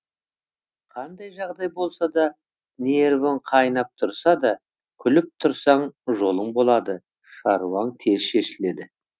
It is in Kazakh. қандай жағдай болса да нервің қайнап тұрса да күліп тұрсаң жолың болады шаруаң тез шешіледі